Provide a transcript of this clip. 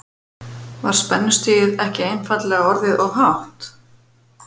Var spennustigið ekki einfaldlega orðið of hátt?